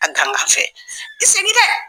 A fɛ i segin dɛ